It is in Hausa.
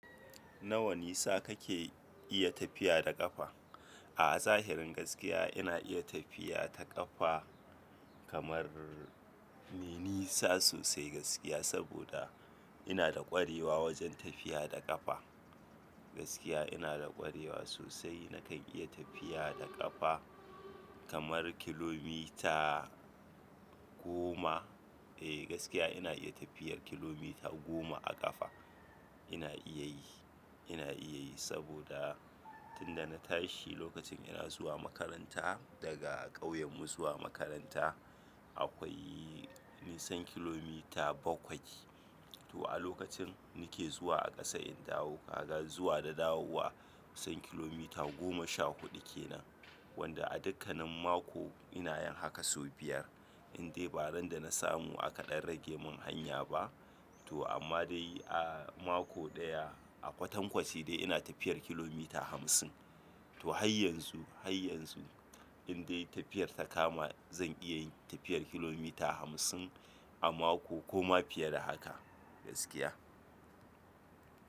Nawa nisa kake iya tafiya da ƙafa? A'a zahirin gaskiya ina iya tafiya ta ƙafa kamar nisa sosai gaskiya saboda ina da ƙwarewa wajen tafiya da ƙafa. Gaskiya ina da ƙwarewa sosai na kan iya tafiya da ƙafa kamar kilomita goma. Eh gaskiya ina iya tafiyar kilomita goma a ƙafa. Ina iya yi, ina iya yi saboda tun da na tashi lokacin ina zuwa makaranta daga ƙauyen mu zuwa makaranta akwai nisan kilomita bakwai. To a lokacin nake zuwa a ƙasa in dawo kaga zuwa da dawowa kusan kilomita goma sha huɗu kenan. Wanda a dukkanin mako ina yin haka sau biyar. Indai baran dana samu aka ɗan rage mun hanya ba to amma dai a mako ɗaya a kwatankwaci dai ina tafiyar kilomita hamsin. To har yanzu, har yanzu indai tafiyar ta kama zan iya tafiyar kilomita hamsin a mako ko ma fiye da haka gaskiya.